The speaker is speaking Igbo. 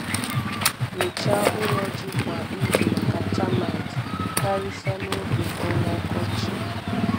Nyochaa ụlọ ji kwa izu maka termite, karịsịa n’oge ọnwa ọkọchị.